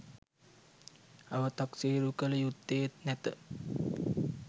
අවතක්සේරු කළ යුත්තේත් නැත.